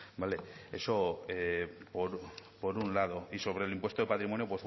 vale eso por un lado y sobre el impuesto de patrimonio